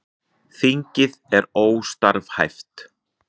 Þingið er óstarfhæft